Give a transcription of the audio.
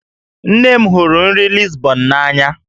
Nne m hụrụ nri Lisbon n'anya